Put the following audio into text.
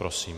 Prosím.